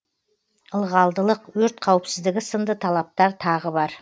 ылғалдылық өрт қауіпсіздігі сынды талаптар тағы бар